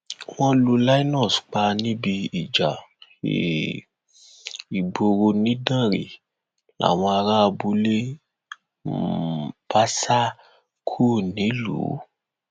wọn lu linus pa níbi ìjà um ìgboro nidanre làwọn ará abúlé um bá sá kúrò nílùú